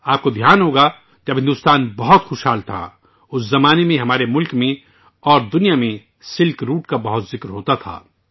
آپ دیکھیں گے کہ جب بھارت بہت خوشحال تھا، اس وقت ہمارے ملک میں اور دنیا میں شاہراہ ریشم کے بارے میں کافی بحث ہوتی تھی